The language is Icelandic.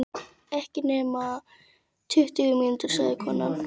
Ekki nema tuttugu mínútur, sagði konan.